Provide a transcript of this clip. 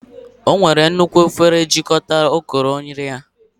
Ọ were nnukwu efere jikọta ukoro nri ya